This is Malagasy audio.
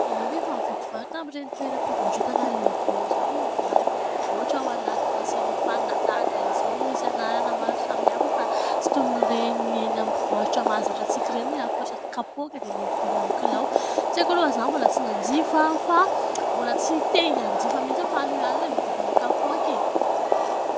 Ianao ve efa nividy vary tamin'ireny toeram-pivarotana lehibe ireny ny vary efa voavotra ao anatina silefanina tahaka izao misy anarana maro samihafa fa tsy toy ny ireny eny amin'ny mpivarotra mahazatra antsika ireny ny afatra sy kapoaka dia ilay hividiana amin'ny kilao ? Tsy haiko aloha fa izaho mbola tsy nanjifa fa mbola tsy te hanjifa mihitsy fa aleo ihany ilay mividy amin'ny kapoaka e !